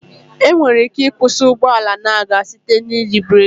Enwere ike ịkwụsị ụgbọala na-aga site n'iji breekị